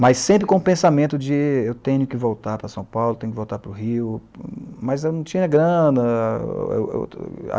Mas sempre com o pensamento de eu tenho que voltar para São Paulo, tenho que voltar para o Rio, mas eu não tinha grana